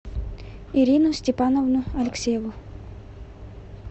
ирину степановну алексееву